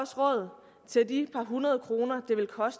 så til de par hundrede kroner